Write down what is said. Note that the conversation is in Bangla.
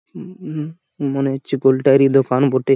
উম মনে হচ্ছে গোলটারই দোকান বটে।